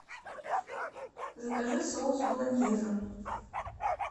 закажи соус болоньезе